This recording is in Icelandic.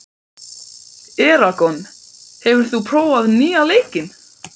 Eragon, hefur þú prófað nýja leikinn?